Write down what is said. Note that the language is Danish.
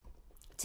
TV 2